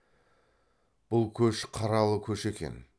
бұл көш қаралы көш екен